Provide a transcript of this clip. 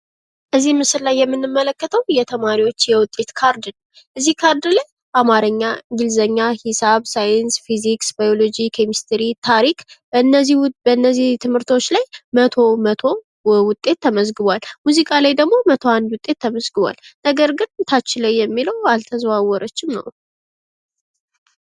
በምስሉ ላይ የምንመለከተው የተማሪዎች የውጤት ካርድ ነው። አማርኛ ፣ እንግሊዝኛ ፣ ሂሳብ ፣ ሳይንስ ፣ ታሪክ መቶ መቶ ዉጤት ተመዝግቧል ፤ ሙዚቃ ላይ ደግሞ መቶ አንድ ዉጤት ተመዝግቧል ፤ ነገር ግን ከታች አልተዘዋወረችም ነው የሚል።